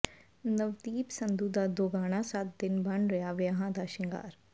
ਨਵਦੀਪ ਸੰਧੂ ਦਾ ਦੋਗਾਣਾ ਸੱਤ ਦਿਨ ਬਣ ਰਿਹਾ ਵਿਆਹਾਂ ਦਾ ਸ਼ਿੰਗਾਰ